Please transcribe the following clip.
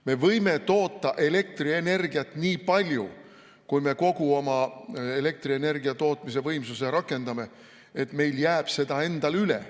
Me võime toota elektrienergiat nii palju, kui me kogu oma elektrienergiatootmise võimsuse rakendame, et meil jääb seda endal üle.